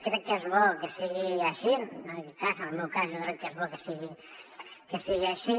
crec que és bo que sigui així en aquest cas en el meu cas jo crec que és bo que sigui així